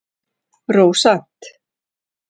Rósant